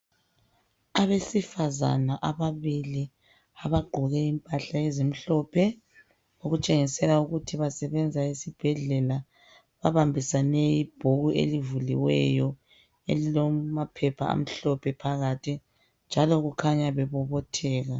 Abesifazana ababili abagqoke impahla ezimhlophe okutshengisela ukuthi basebenze esibhedlela babambisane ibhuku elivuliweyo elilamaphepha amhlophe phakathi njalo kukhanya bebobotheka.